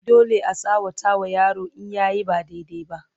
dole a tsawata wa yaro in yayi ba daidai ba